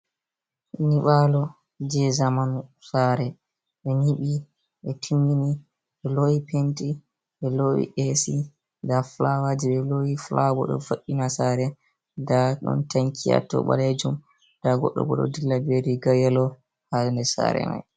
Nyiɓaalo je zamanu. Saare ɓe nyiɓi, ɓe timmini ɓe loowi penti, ɓe loowi esi, nda fulawa je ɓe loowi, fulaawa bo ɗo vo'ina saare, nda ɗon tanki haa to ɓaleejum, nda goɗɗo bo ɗo dilla be riga yelo haa nder saare mai.